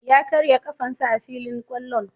Ya karya ƙafan sa a filin kwallon.